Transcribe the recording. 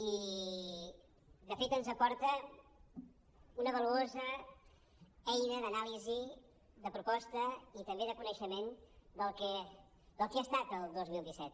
i de fet ens aporta una valuosa eina d’anàlisi de proposta i també de coneixement del que ha estat el dos mil disset